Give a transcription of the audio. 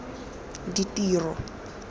ditiro